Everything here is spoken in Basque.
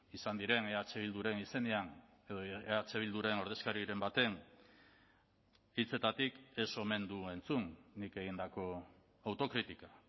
izan diren eh bilduren izenean edo eh bilduren ordezkariren baten hitzetatik ez omen du entzun nik egindako autokritika